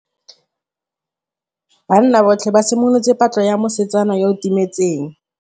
Banna botlhê ba simolotse patlô ya mosetsana yo o timetseng.